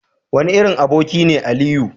wane irin aboki ne Aliyu?